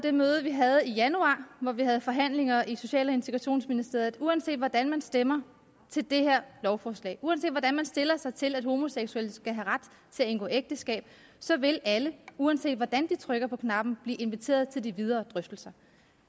det møde vi havde i januar hvor vi havde forhandlinger i social og integrationsministeriet at uanset hvordan man stemmer til det her lovforslag uanset hvordan man stiller sig til at homoseksuelle skal have ret til at indgå ægteskab så vil alle uanset hvordan de trykker på knappen blive inviteret til de videre drøftelser